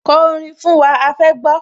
Ko orin fún wa, a fẹ́ gbọ́